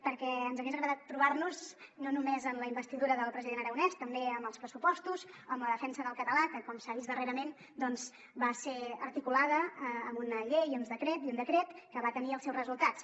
perquè ens hagués agradat trobar nos no només en la investidura del president aragonès també en els pressupostos o en la defensa del català que com s’ha vist darrerament doncs va ser articulada amb una llei i un decret que van tenir els seus resultats